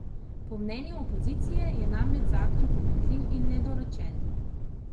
Po mnenju opozicije je namreč zakon pomanjkljiv in nedorečen.